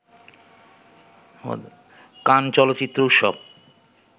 কান চলচ্চিত্র উৎসব